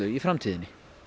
í framtíðinni